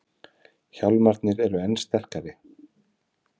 Hjálmarnir enn sterkari